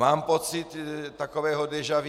Mám pocit takového déjà vu.